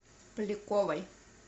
поляковой